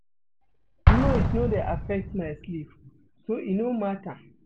Noise no dey affect my sleep so e no mata.